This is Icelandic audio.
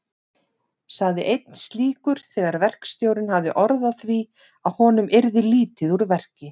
sagði einn slíkur þegar verkstjórinn hafði orð á því að honum yrði lítið úr verki.